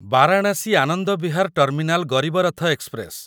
Varanasi Anand Vihar terminal Garib Rath express